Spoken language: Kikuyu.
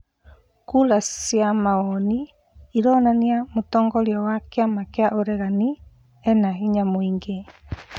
Kũra cia mawoni ironania mũtongoria wa kĩama kĩa ũregani ena hinya mũingĩ